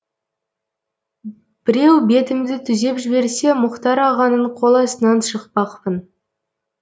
біреу бетімді түзеп жіберсе мұхтар ағаның қоластынан шықпақпын